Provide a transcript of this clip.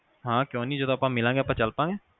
ਹਾਂ ਕਿਊ ਨੀ ਜਦੋ ਆਪਾ ਮਿਲਾਗੇ ਆਪਾ ਚਲ ਪਾਗੇ